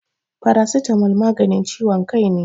Paracetamol maganin ciwon kai ne.